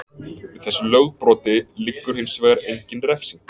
Við þessu lögbroti liggur hins vegar engin refsing.